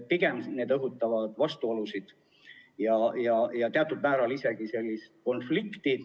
Pigem õhutavad need vastuolusid ja teatud määral isegi konflikti.